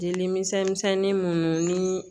Jeli misɛnnin minnu ni